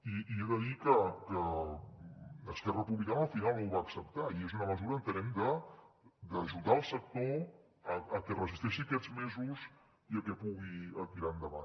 i he de dir que esquerra republicana al final ho va acceptar i és una mesura entenem d’ajudar el sector a que resisteixi aquests mesos i a que pugui tirar endavant